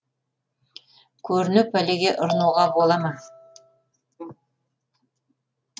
көріне пәлеге ұрынуға бола ма